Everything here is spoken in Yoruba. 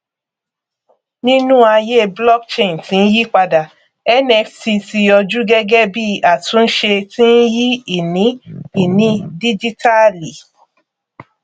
nínú ayé blockchain tí ń yípadà nft ti yòjú gẹgẹ bí àtúnṣe tí ń yí ìní ìní díjítálì